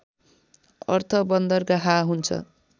अर्थ बन्दरगाह हुन्छ